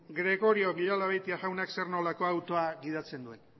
gregorio villalabeitia jaunak zer nolako autoa gidatzen duen